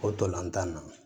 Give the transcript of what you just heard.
O tolantan na